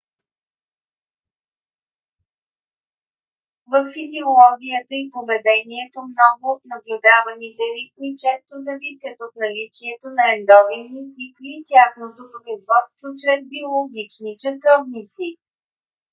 във физиологията и поведението много от наблюдаваните ритми често зависят от наличието на ендогенни цикли и тяхното производство чрез биологични часовници